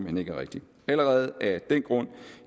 hen ikke er rigtigt allerede af den grund